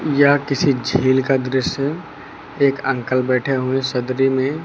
यह किसी झील का दृश्य एक अंकल बैठे हुए सदरी में --